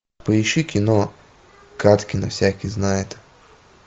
поищи кино кадкина всякий знает